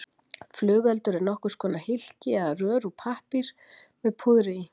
Flugeldur er nokkurs konar hylki eða rör úr pappír með púðri í.